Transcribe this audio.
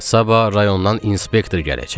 Sabah rayondan inspektor gələcək.